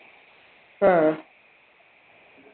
ആ